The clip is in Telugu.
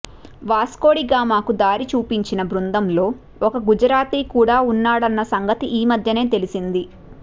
వాస్కోడిగామాకు దారి చూపించి న బృందంలో ఒకగుజరాతీ కూడా ఉన్నాడన్న సంగతి ఈ మధ్యనే తెలిసింది